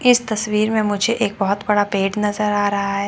इस तस्वीर में मुझे एक बहोत बड़ा पेड़ नजर आ रहा है।